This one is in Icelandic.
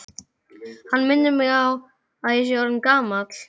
Hann minnir mig á, að ég er orðinn gamall.